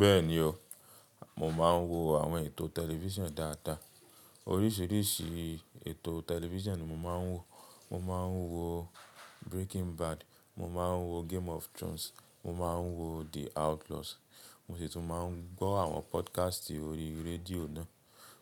Bẹ́ẹ̀ni o, mo máa ń wo àwọn ètò tẹlifísàn dáadáa. Oríṣìríṣì ètò tẹlifísàn ni mo máa ń wo. Mo máa ń wo Breaking Bad, mo máa ń wo Game of Thrones, mo máa ń wo The Outlaws, mo sì tún máa ń gbọ́ àwọn podcast ori rédíò náà.